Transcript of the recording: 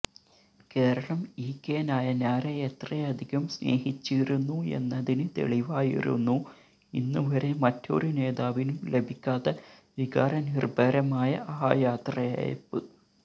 Keralam E K നായനാരെ എത്രയധികം സ്നേഹിച്ചിരുന്നു എന്നതിന് തെളിവായിരുന്നു ഇന്നുവരെ മറ്റൊരു നേതാവിനും ലഭിക്കാത്ത വികാരനിർഭരമായ ആ യാത്രയയപ്പ്